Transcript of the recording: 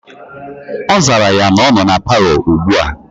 Ozara ya na noo na parlour ugbua.